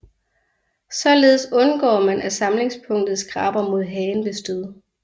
Således undgår man af samlingspunktet skraber mod hagen ved stød